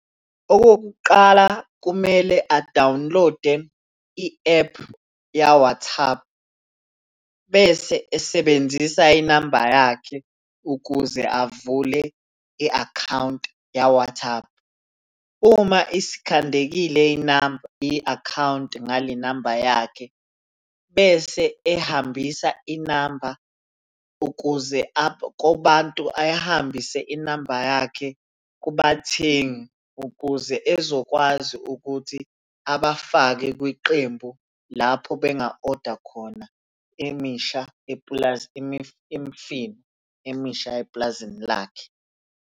Okokuqala kumele a-download-e i-ephu ya-WhatsApp, bese esebenzisa inamba yakhe ukuze avule i-akhawunti ya-WhatsApp. Uma isikhandekile inamba, i-akhawunti ngale namba yakhe, bese ehambisa inamba ukuze kubantu ayihambise inamba yakhe kubathengi ukuze ezokwazi ukuthi abafake kwiqembu lapho benga-oda khona emisha, , imifino emisha epulazini lakhe.